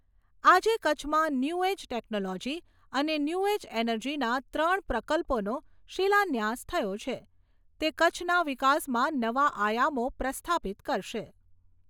આજે કચ્છમાં new age technology અને ન્યુ એજ એનર્જીના ત્રણ પ્રકલ્પોનો શિલાન્યાસ થયો છે તે કચ્છના વિકાસમાં નવા આયામો પ્રસ્થાપિત કરશે.